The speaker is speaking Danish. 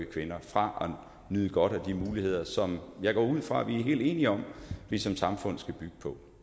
kvinder fra at nyde godt af de muligheder som jeg går ud fra at vi er helt enige om vi som samfund skal bygge på